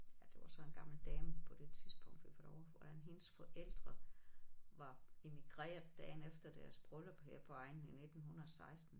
Ja det var så en gammel dame på det tidspunkt vi var derovre hvordan hendes forældre var immigreret dagen efter deres bryllup her på egnen i 1916